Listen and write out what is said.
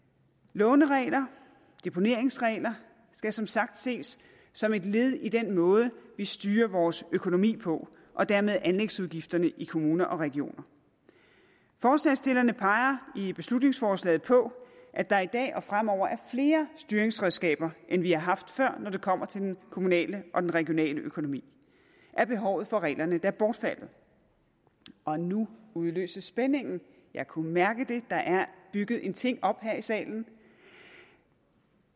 låneregler og deponeringsregler skal som sagt ses som et led i den måde vi styrer vores økonomi på og dermed anlægsudgifterne i kommuner og regioner forslagsstillerne peger i beslutningsforslaget på at der i dag og fremover er flere styringsredskaber end vi har haft før når det kommer til den kommunale og den regionale økonomi er behovet for reglerne da bortfaldet og nu udløses spændingen jeg kunne mærke det der er bygget en ting op her i salen